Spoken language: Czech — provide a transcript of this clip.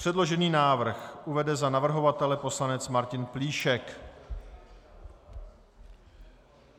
Předložený návrh uvede za navrhovatele poslanec Martin Plíšek.